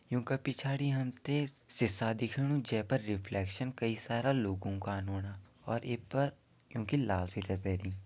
यूं क पिछाड़ी हमते सीसा दिख्याणु जै पर रिफ्लेक्शन कई सारा लोगो का ओणा और यै पर यूंकि लाल स्वेटर पेनी।